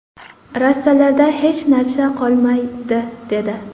Rastalarda hech narsa qolmaydi”, dedi.